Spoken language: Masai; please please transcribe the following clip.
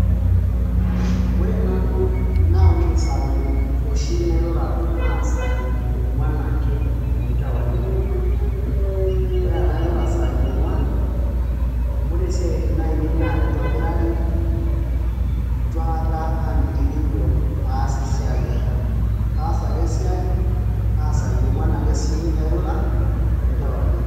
ore nanu naa ore isaai oshi nairura naa isaai ong'uan ake tenkewarie ore tenairura isaai ong'uan ore isiatin ainei naa kitobirari itu aikata aamitiki injo aas esiai ai kaas ake esiai naa isaai ong'uan sii ake airura tenkewarie.